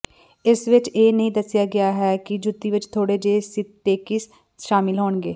ਇਸ ਵਿਚ ਇਹ ਨਹੀਂ ਦੱਸਿਆ ਗਿਆ ਹੈ ਕਿ ਜੁੱਤੀ ਵਿਚ ਥੋੜ੍ਹੇ ਜਿਹੇ ਸਿੰਥੇਟਿਕਸ ਸ਼ਾਮਲ ਹੋਣਗੇ